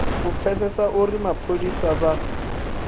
u pfesesa uri mapholisa vha